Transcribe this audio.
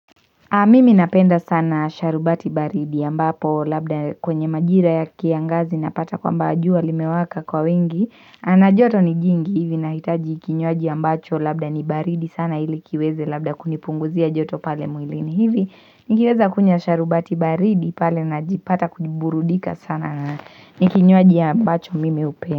Mimi napenda sana sharubati baridi ya ambapo labda kwenye majira ya kiangazi napata kwamba jua limewaka kwa wingi na joto ni jingi hivi nahitaji kinyuaji ya ambacho labda ni baridi sana ilikiweze labda kunipunguzia joto pale mwilini hivi nikiweza kunya sharubati baridi pale na jipata kujiburudika sana nikinyuaji ya ambacho mimi upea.